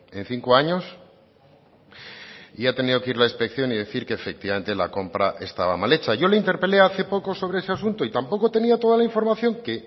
en cinco años y ha tenido que ir la inspección y decir que efectivamente la compra estaba mal hecha yo le interpelé hace poco sobre ese asunto y tampoco tenía toda la información que